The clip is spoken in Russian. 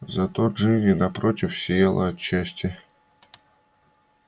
зато джинни напротив сияла от счастья